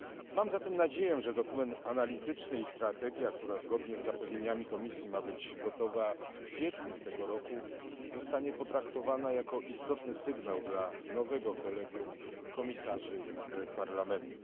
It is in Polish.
Mam zatem nadzieję, że dokument analityczny i strategia, która zgodnie z zapewnieniami komisji ma być gotowa w kwietniu tego roku, zostaną potraktowane jako istotny sygnał dla nowego kolegium komisarzy i Parlamentu.